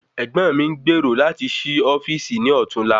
Ègbón mi n gbèrò lati sí ofíìsì ní ọtún la